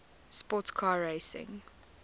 sports car racing